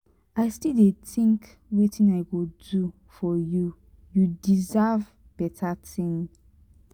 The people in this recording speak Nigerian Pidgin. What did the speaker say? i still dey think wetin i go do for you you deserve beta thing.